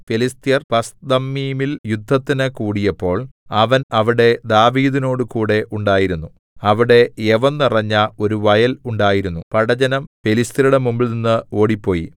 ഫെലിസ്ത്യർ പസ്ദമ്മീമിൽ യുദ്ധത്തിന് കൂടിയപ്പോൾ അവൻ അവിടെ ദാവീദിനോടുകൂടെ ഉണ്ടായിരുന്നു അവിടെ യവം നിറഞ്ഞ ഒരു വയൽ ഉണ്ടായിരുന്നു പടജ്ജനം ഫെലിസ്ത്യരുടെ മുമ്പിൽനിന്നു ഓടിപ്പോയി